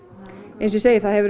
eins og ég segi þá hefur